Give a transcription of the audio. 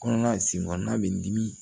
Kɔnɔna sen kɔnɔna bɛ dimi